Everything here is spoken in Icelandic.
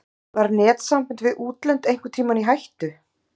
Var netsamband við útlönd einhvern tímann í hættu?